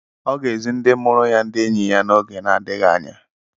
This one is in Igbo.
Ọ ga-ezi ndị mụrụ ya ndị enyi ya n'oge na-adịghị anya.